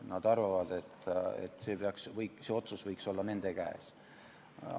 Nad arvavad, et see otsus võiks olla nende käes.